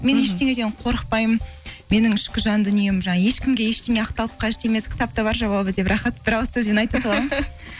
мен ештеңеден қорықпаймын менің ішкі жан дүнием жаңағы ешкімге ештеңе ақталып қажет емес кітапта бар жауабы деп рахат бір ауыз сөзбен айта саламын